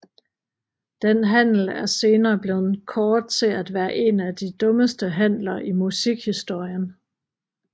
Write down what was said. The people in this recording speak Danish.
Den handel er senere blevet kåret til at være en af de dummeste handler i musikhistorien